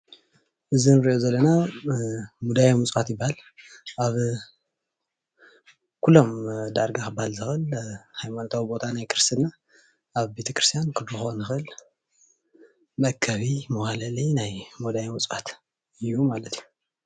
እዚ እንሪኦ ዘለና ምድዋየ ምፅዋት ይባሃል፡፡ ኣብ ኩሎም ዳርጋ ክባሃል ዝክእል ሃይማኖታዊ ቦታ ናይ ክርስትና ኣብ ቤተ ክርስትያን ክንረክቦ ንክእል መአከቢ መዋህለሊ ናይ ሙዳየ ምፅዋት እዩ ማለት እዩ፡፡